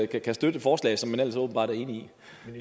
kan støtte et forslag som man ellers åbenbart er enig